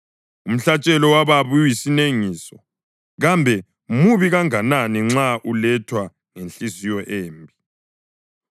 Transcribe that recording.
Umhlatshelo wababi uyisinengiso kambe mubi kangakanani nxa ulethwa ngenhliziyo embi.